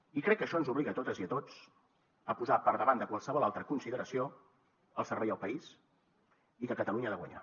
i crec que això ens obliga a totes i a tots a posar per davant de qualsevol altra consideració el servei al país i que catalunya ha de guanyar